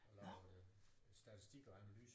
Jeg lavede statistik og analyse